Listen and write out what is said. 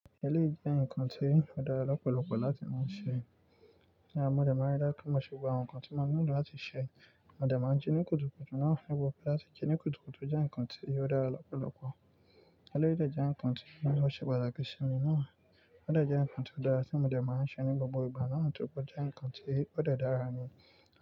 Eléyìí jẹ́ ǹkan tí ó dára lọ́pọ̀lọpọ̀ láti máa ṣe. Mọ́ dẹ̀ máa ń rí dájú pé mọ ṣe gbogbo àwọn ǹkan tí mọ nílò láti ṣe. Mo dẹ̀ máa ń jí ní kùtùkùtù náà nípa pé lati jí ní kùtùkùtù jẹ́ ǹkan tí ó dára lọ́pọ̀lọpọ̀. Eléyìí dè jẹ̀ ǹkan tí ó ṣe pàtàkì sí mi náà. Ó dẹ̀ jẹ́ ǹkan tí ó dára tí mo dẹ̀ máa ń ṣe ní gbogbo ìgbà náà, nítorí pé ó jẹ́ ǹkan tí ó dẹ̀ dára ni.